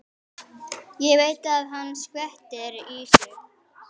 Ég veit að hann skvettir í sig.